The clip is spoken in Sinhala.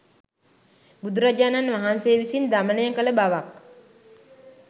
බුදුරජාණන් වහන්සේ විසින් දමනය කළ බවක්